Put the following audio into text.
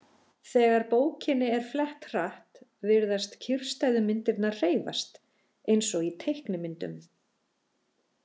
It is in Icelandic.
Þegar bókinni er flett hratt virðast kyrrstæðu myndirnar hreyfast, eins og í teiknimyndum.